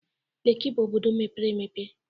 Leki bụ obodo mepere emepe.